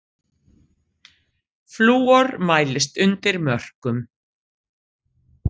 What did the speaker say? Flúor mælist undir mörkum